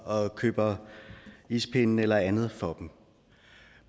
og køber ispinde eller andet for dem